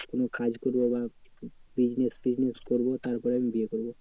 কোনো কাজ করবো বা business তিসনেস করবো তারপরে আমি বিয়ে করবো।